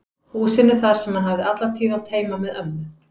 Húsinu þar sem hann hafði alla tíð átt heima með ömmu